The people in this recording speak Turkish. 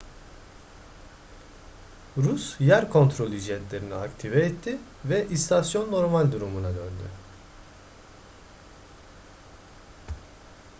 rus yer kontrolü jetlerini aktive etti ve istasyon normal durumuna döndü